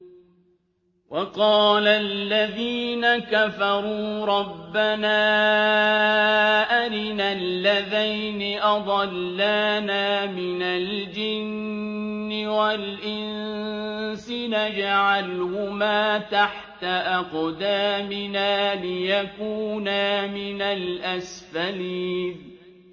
وَقَالَ الَّذِينَ كَفَرُوا رَبَّنَا أَرِنَا اللَّذَيْنِ أَضَلَّانَا مِنَ الْجِنِّ وَالْإِنسِ نَجْعَلْهُمَا تَحْتَ أَقْدَامِنَا لِيَكُونَا مِنَ الْأَسْفَلِينَ